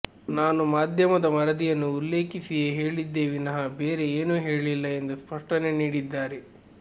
ನಾನು ಮಾಧ್ಯಮದ ವರದಿಯನ್ನು ಉಲ್ಲೇಖಿಸಿಯೇ ಹೇಳಿದ್ದೇ ವಿನಃ ಬೇರೆ ಏನು ಹೇಳಿಲ್ಲ ಎಂದು ಸ್ಪಷ್ಟನೆ ನೀಡಿದ್ದಾರೆ